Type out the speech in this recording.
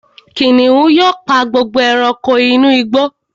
Kìnìún pa gbogbo ẹranko inú igbó